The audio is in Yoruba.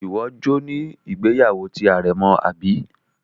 Iwọ jọ ni ìgbéyàwó ti arẹ̀mọ abi?